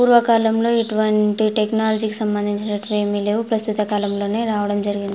పూర్వకాలంలో ఇటువంటి టెక్నాలజీకి సంబందించినటివి ఏమి లేవు ప్రస్తుత కాలంలో రావడం జరిగింది.